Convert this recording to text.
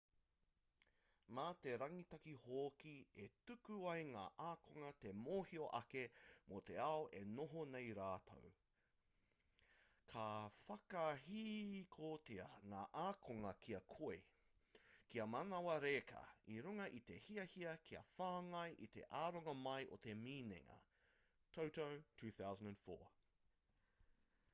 mā te rangitaki hoki e tuku ai ngā ākonga te mōhio ake mō te ao e noho nei rātou. ka whakahihikotia ngā ākonga kia koi kia manawa reka i runga i te hiahia kia whāngai i te aronga mai o te minenga toto 2004